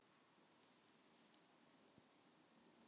Afi í fiskbúðinni tók í framrétta hönd afa blinda og þeir heilsuðust.